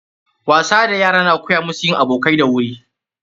Wasa da yara na koya musu yin abokai da wuri.